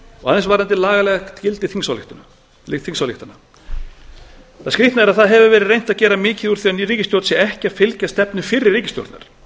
aðeins varðandi lagalegt gildi þingsályktana það skrýtna er að það hefur verið reynt að gera mikið úr að núverandi ríkisstjórn sé ekki að fylgja stefnu fyrri ríkisstjórnar